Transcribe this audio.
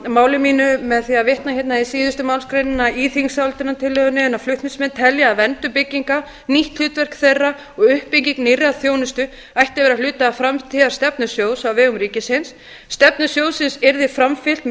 máli mínu með því að vitna hérna í síðustu málsgrein í greinargerð þingsályktunartillögunnar flutningsmenn telja að verndun bygginga nýtt hlutverk þeirra og uppbygging nýrrar þjónustu ætti að vera hluti af framtíðarstefnu sjóðs á vegum ríkisins stefnu sjóðsins yrði framfylgt með